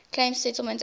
claims settlement act